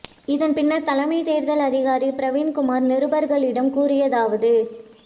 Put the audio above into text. இதன் பின்னர் தலைமை தேர்தல் அதிகாரி பிரவீன் குமார் நிருபர்களிடம் கூறியதாவது